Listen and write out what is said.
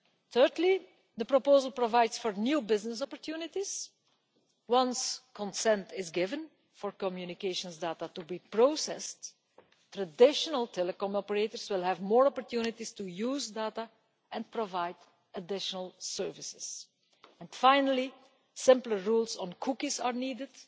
Thirdly, the proposal provides for new business opportunities. Once consent is given for communications data to be processed, traditional telecom operators will have more opportunities to use data and provide additional services. Finally, simpler rules on cookies are needed.